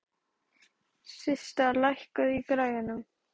Systa, lækkaðu í græjunum.